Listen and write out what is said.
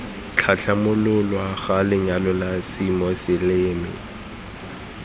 tlhatlhamololwa ga lenyalo la semoseleme